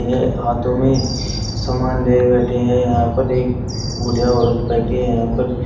ये हाथों में सामान लिये बैठे हैं यहां पे एक बूढ़ी औरत बैठे हैं यहां पर--